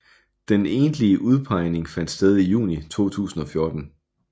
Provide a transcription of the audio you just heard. Den egentlige udpegning fandt sted i juni 2014